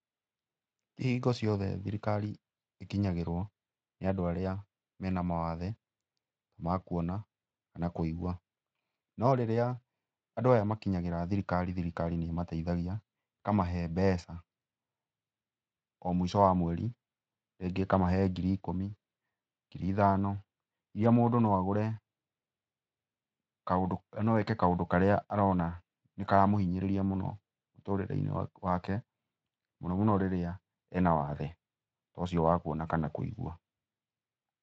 Ti hingo ciothe thirikari ĩkinyagĩrwo nĩ andũ arĩa mena mawathe, ma kuona kana kũigua. No rĩrĩa, andũ aya makinyagĩra thirikari, thirikari nĩmateithagia, ĩkamahe mbeca, o mũico wa mweri. Rĩngĩ ĩkamahe ngiri ikũmi, ngiri ithano, iria mũndũ no agũre kaũndũ, no eke kaũndũ karĩa arona nĩkaramũhinyĩrĩria mũno, mũtũrĩre-inĩ wake, mũno mũno rĩrĩa ena wathe ta ũcio wa kuona kana kũigua.